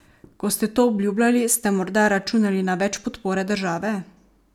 Ko ste to obljubljali, ste morda računali na več podpore države?